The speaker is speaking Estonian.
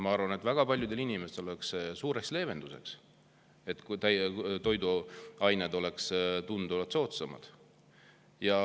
Ma arvan, et väga paljudele inimestele oleks see suureks leevenduseks, kui toiduained oleks tunduvalt soodsamad.